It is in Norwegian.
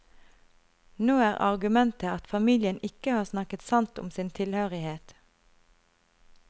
Nå er argumentet at familien ikke har snakket sant om sin tilhørighet.